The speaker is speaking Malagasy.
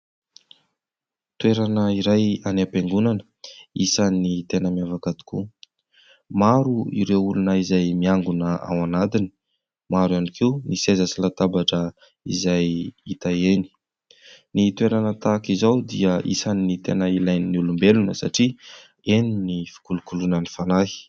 Toerana iray any am-piangonana, isan'ny tena miavaka tokoa. Maro ireo olona izay miangona ao anatiny, maro ihany koa ny seza sy latabatra izay hita eny. Ny toerana tahaka izao dia isan'ny tena ilain'ny olombelona satria eny ny fikolokoloana ny fanahy.